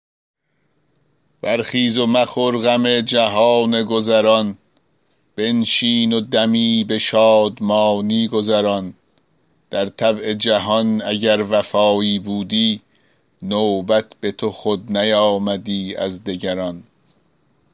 برخیز و مخور غم جهان گذران بنشین و دمی به شادمانی گذران در طبع جهان اگر وفایی بودی نوبت به تو خود نیامدی از دگران